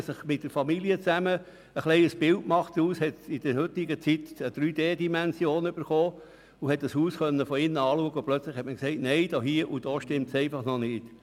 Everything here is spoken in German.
Wenn Sie sich aber mit der Familie ein Bild machen – heute kann man sich ja am Computer das Haus von innen in 3D anschauen –, merkt man, dass es an der einen Stellen nicht stimmt.